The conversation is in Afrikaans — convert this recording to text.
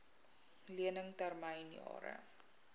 lening termyn jare